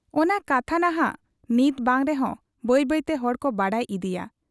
ᱚᱱᱟ ᱠᱟᱛᱷᱟ ᱱᱷᱟᱜ ᱱᱤᱛ ᱵᱟᱝ ᱨᱮᱦᱚᱸ ᱵᱟᱹᱭ ᱵᱟᱹᱭᱛᱮ ᱦᱚᱲᱠᱚ ᱵᱟᱰᱟᱭ ᱤᱫᱤᱭᱟ ᱾